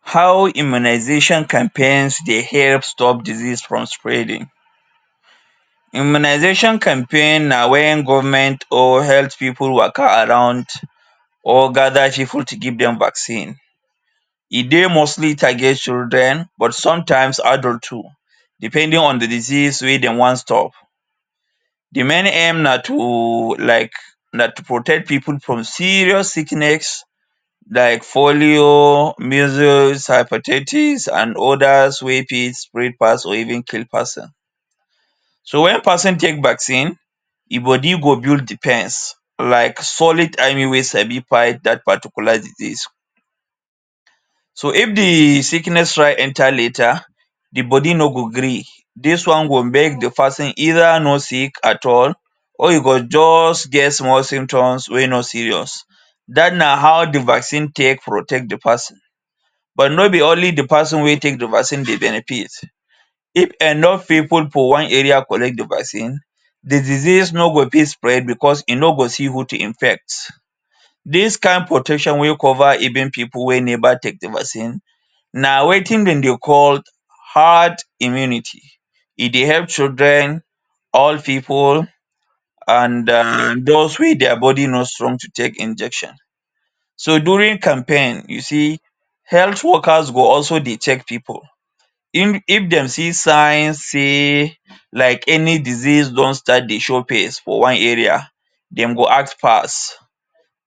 How immunisation campaigns dey help stop disease from spreading. Immunisation campaign na wen government or health pipu waka around or gather pipu to give dem vaccine. E dey mostly target children but sometimes, adult too, depending on the disease wey de wan stop. The main aim na to like na to protect from serious sickness like polio, measles, hepatitis, an others wey fit spread pass or even kill pass am. So, wen peson take vaccine, e body go build defense like solid army wey sabi fight dat particular disease. So, if the sickness try enter later, the body no go gree. Dis one will make the peson either not sick at all, or e go juz get small symptoms wey no serious. Dat na how the vaccine take protect the peson. But no be only the peson wey take the vaccine dey benefit. If enough pipu for one area collect the vaccine, the disease no go fit spread becos e no go see who to infect. Dis kain protection wey cover even pipu wey never take the vaccine na wetin dem dey call hard immunity. E dey help children, old pipu an wey dia body no strong to take injection. So, during campaign, you see health workers go also dey check pipu. If if dem see signs sey like any disease don start dey show face for one area, dem go act fas.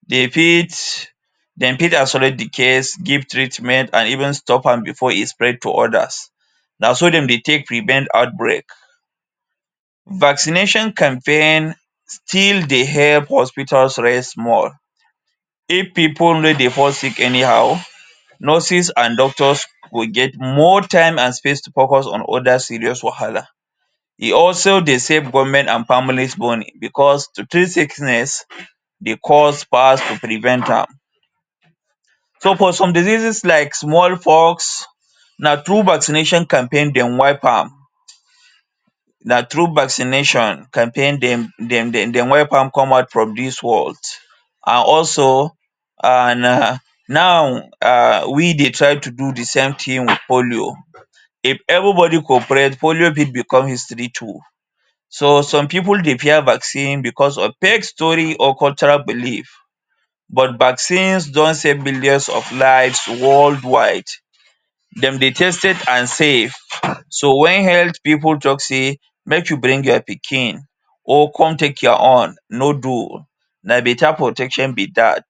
De fit dem fit isolate the case, give treatment an even stop am before e spread to others. Na so dem dey take prevent outbreak. Vaccination campaign still dey help hospitals res small. If pipu no dey fall sick anyhow, nurses an doctors go get more time an space to focus on other serious wahala. E also dey save government an families money becos to treat sickness dey cost pass to prevent am. So, for some diseases like small pox, na through vaccination campaign dem wipe am. Na through vaccination campaign dem dem dem dem wipe am come out from dis world. An also, an um, now um we dey try to do the same tin with polio. If everybody cooperate, polio fit become history too. So, some pipu dey fear vaccine becos of fake story or cultural belief. But vaccines don save millions of lives world wide. Dem dey tested an safe. So wen health pipu talk sey make you bring your pikin, or come take your own, no dull. Na beta protection be dat.